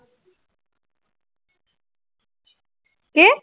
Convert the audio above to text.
কি?